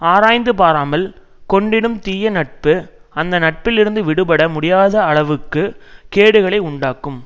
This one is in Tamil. ஆராய்ந்து பாராமல் கொண்டிடும் தீய நட்பு அந்த நட்பிலிருந்து விடுபட முடியாத அளவுக்கு கேடுகளை உண்டாக்கும்